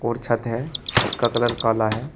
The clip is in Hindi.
और छत है छत का कलर काला है।